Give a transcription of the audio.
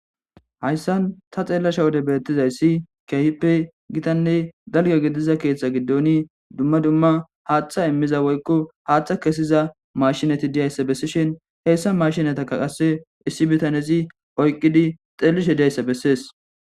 Hayssan ta xeellasha wode beettizayssi kehippe gitanne dalyo gidiza keeththa giddoni dumma dumma haaththa immiza woykko haaththa kesiza mashinati diyayssa bessishin heyssa mashinataka qasse issi bitanezi oyqqidi xeellishe diyayssa bessees.